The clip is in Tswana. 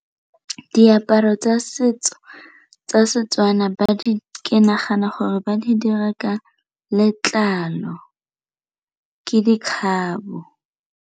Diaparo tsa setso tsa Setswana ke nagana gore ba di dira ka letlalo ke dikgabo.